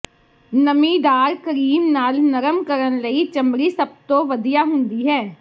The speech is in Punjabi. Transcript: ਨਮੀਦਾਰ ਕਰੀਮ ਨਾਲ ਨਰਮ ਕਰਨ ਲਈ ਚਮੜੀ ਸਭ ਤੋਂ ਵਧੀਆ ਹੁੰਦੀ ਹੈ